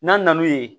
N'an nan'u ye